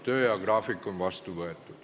Tööajagraafik on vastu võetud.